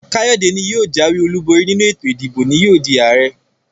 Kayode ní yóò jàwé olú bori nínú ètò ìdìbò ní yóò dii Ààrẹ.